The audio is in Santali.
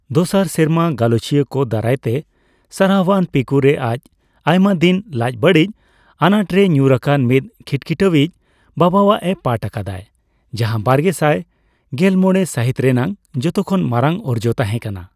ᱫᱚᱥᱟᱨ ᱥᱮᱨᱢᱟ, ᱜᱟᱞᱚᱪᱤᱭᱟᱹᱠᱚ ᱫᱟᱨᱟᱭᱛᱮ ᱥᱟᱨᱦᱟᱣᱟᱱ 'ᱯᱤᱠᱩ'ᱼᱨᱮ ᱟᱡ ᱟᱭᱢᱟ ᱫᱤᱱ ᱞᱟᱡ ᱵᱟᱹᱲᱤᱡᱽ ᱟᱱᱟᱴ ᱨᱮᱭ ᱧᱩᱨᱟᱠᱟᱱ ᱢᱤᱫ ᱠᱷᱤᱴ ᱠᱷᱤᱴᱟᱣᱤᱡ ᱵᱟᱵᱟᱣᱟᱜ ᱮ ᱯᱟᱴᱷ ᱟᱠᱟᱫᱟᱭ, ᱡᱟᱦᱟ ᱵᱟᱨᱜᱮᱥᱟᱭ ᱜᱮᱞᱢᱚᱲᱮ ᱥᱟᱹᱦᱤᱛ ᱨᱮᱱᱟᱜ ᱡᱚᱛᱚ ᱠᱷᱚᱱ ᱢᱟᱨᱟᱝ ᱚᱨᱡᱚ ᱛᱟᱦᱮ ᱠᱟᱱᱟ ᱾